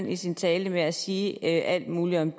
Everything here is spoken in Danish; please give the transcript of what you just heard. i sin tale med at sige alt muligt om